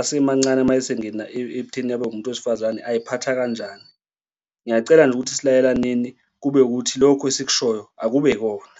asemancane uma esengena ekutheni abe umuntu wesifazane ay'phatha kanjani? Ngiyacela nje ukuthi silalelaneni, kube ukuthi lokho esikushoyo akube ikona.